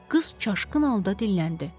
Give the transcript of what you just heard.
Qız çaşqın halda dilləndi.